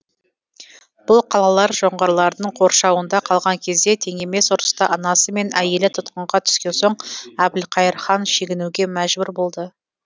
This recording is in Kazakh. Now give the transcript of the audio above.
бұл қалалар жоңғарлардың қоршауында қалған кезде тең емес ұрыста анасы мен әйелі тұтқынға түскен соң әбілқайыр хан шегінуге мәжбүр болды